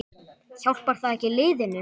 Hjálpar það ekki liðinu?